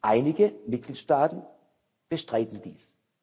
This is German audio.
Einige Mitgliedstaaten bestreiten dies.